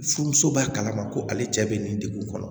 Furumuso b'a kalama ko ale cɛ bɛ nin degun kɔnɔ